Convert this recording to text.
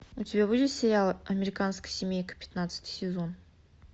у тебя будет сериал американская семейка пятнадцатый сезон